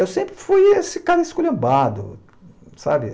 Eu sempre fui esse cara esculhambado, sabe?